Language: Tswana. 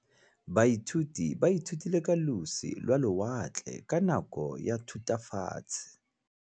Baithuti ba ithutile ka losi lwa lewatle ka nako ya Thutafatshe.